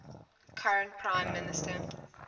current prime minister